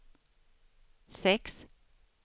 sex